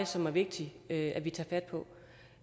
som er vigtigt at vi tager fat på